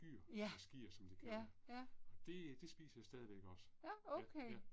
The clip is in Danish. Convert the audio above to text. Ja. Ja, ja. Nåh okay